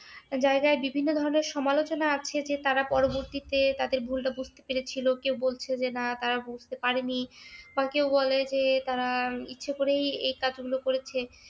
জায়গায় বিভিন্ন ধরনের সমালোচনা আছে যে তারা পরবর্তীতে তাদের ভুলটা বুঝতে পেরেছিল। কেউ বলছে যে না তারা বুঝতে পারেনি বা কেউ বলে যে তারা ইচ্ছে করেই কাজটা এই করেছিল